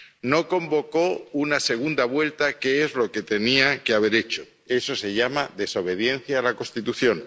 no convocó una segunda vuelta, que es lo que tenía que haber hecho eso se llama desobediencia a la Constitución